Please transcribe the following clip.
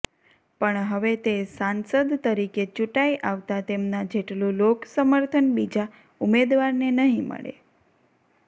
પણ હવે તે સાસંદ તરીકે ચૂંટાઈ આવતા તેમના જેટલું લોક સમર્થન બીજા ઉમેદવારને નહિ મળે